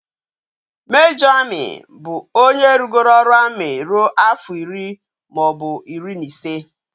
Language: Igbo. Mejọr amị bụ onye rụgoro ọrụ amị ruo afọ iri maọbụ iri na ise